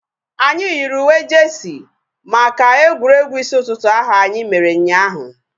Anyị yiri uwe jeesi maka egwuregwu isi ụtụtụ ahu anyị mere ụnyaahụ